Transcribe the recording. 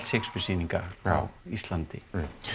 Shakespeare sýninga á Íslandi